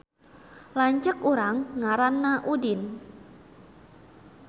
Lanceuk urang ngaranna Udin